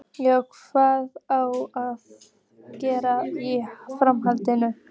Já, hvað á að gera í framhaldinu?